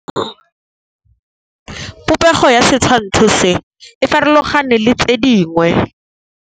Popêgo ya setshwantshô se, e farologane le tse dingwe.